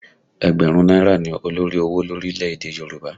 Ẹgbẹ̀rún náírà ni olórí owó lórílẹ̀ èdè Nàìjíríà